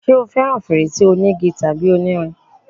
ṣé o fẹràn fèrèsé onígi tàbí onírin?